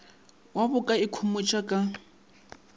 wo ba ka ikhomotšago ka